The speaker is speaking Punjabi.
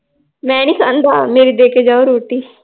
ਮੈ ਨੀ ਖਾਂਦਾ ਮੇਰੀ ਦੇ ਕੇ ਜਾਓ ਰੋਟੀl ਹਮ